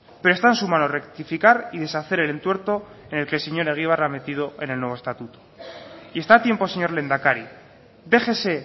pero está en su mano rectificar y deshacer el entuerto en el que el señor egibar ha metido en el nuevo estatuto y está a tiempo señor lehendakari déjese